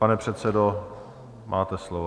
Pane předsedo, máte slovo.